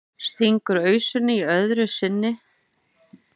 Stingur ausunni öðru sinni í og tæmir hana í einum teyg.